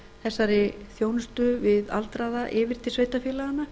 þessari þjónustu við aldraða yfir til sveitarfélaganna